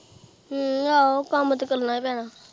ਹਮ ਆਹੋ ਕੰਮ ਤੇ ਕਰਨਾ ਹੀ ਪੈਣਾ।